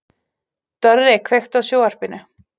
Dorri, kveiktu á sjónvarpinu.